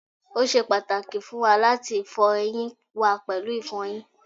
o ṣe pàtàkì fún wa láti fọ eyín wa pẹ̀lú ìfọyín